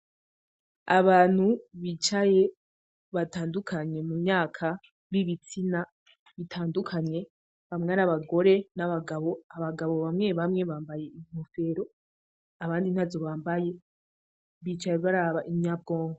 Abantu bicaye batandukanye mumyaka bibitsina bitandukanye, bamwe ari abagore n'abagabo, abagabo bamwe bamwe bambaye inkofero abandi ntazo bambaye; bicaye baraba inyabwonko.